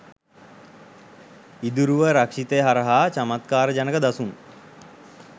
ඉදුරුව රක්ෂිතය හරහා චමත්කාර ජනක දසුන්